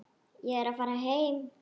Ég er að fara heim.